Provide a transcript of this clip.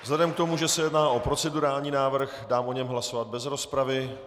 Vzhledem k tomu, že se jedná o procedurální návrh, dám o něm hlasovat bez rozpravy.